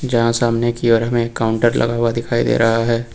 यहां सामने की ओर में काउंटर लगा हुआ दिखाई दे रहा है।